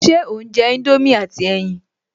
Ṣe ò ń jẹ indomie àti ẹyin?